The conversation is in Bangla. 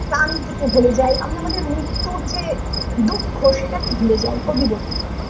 প্রান্তিকের ভুলে যাই আমরা আমাদের মৃত্যুর যে দুঃখ সেটা কে ভুলে যাই কবি বললেন